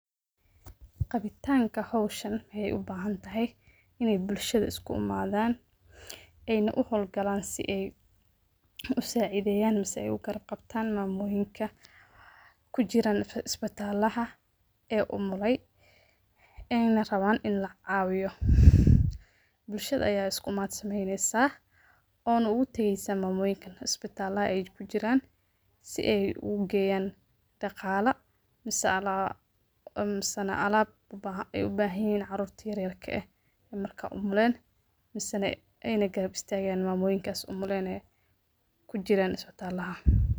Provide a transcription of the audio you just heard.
Qaabitanka hawshaan waxey u bahantahay ineey bulshada iskuimaadhan ey na u hawl gaalan si ey usaciideyan mise ey u gaarab qabtaan maamooyinka kujiraan cisbitaalaha ee umulay ee rabaan inii lacaawiyo buulshada ayaa iskuimaat sameeyneysa oo na ogu tageeysa maamooyinka cisbitaalaha ey kujiraan si ey ogu Geeyan dhaaqaalo mise na alaab ey u bahaan yahiin caruurta yaryarka ah ee marka umuulen mise ey garab istageen maamooyinka umuleen ee kujiraan cisbitaalaha.